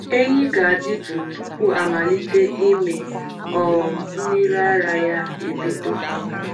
Ehi ga-adị jụụ tupu amalite ịmị um mmiri ara ya ebido.